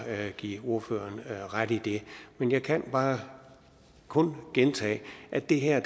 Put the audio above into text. give ordføreren ret i det men jeg kan bare kun gentage at det her